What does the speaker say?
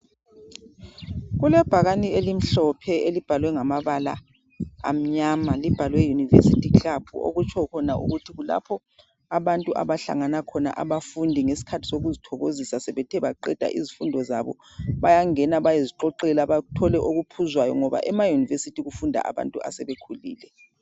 Kulebhakane elimhlophe elibhalwe ngamabala amnyama libhalwe university club okutsho khona ukuthi abanti abahlangana khona abafundi ngesikhathi sokuzithokozisa sebethe baqeda izifundo zabo bayangena bayezixoxela bathole okuphuzwayo ngoba emayunivesithi kufunda abantu asebekhulile.